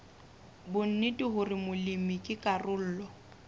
bonnete hore molemi ke karolo